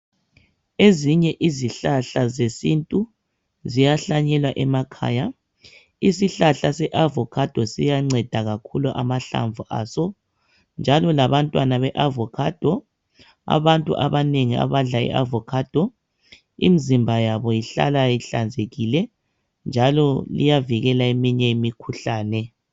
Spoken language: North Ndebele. Ezinye izihlahla zesintu ziyahlanyelwa emakhaya. Isihlahla se-avokhado siyanceda kakhulu amahlamvu aso, njalo labantwana be-avokhado. Abantu abanengi abadla i-avokhado imzimba yabo ihlala ihlanzekile njalo iyavikela eminye imikhuhlane.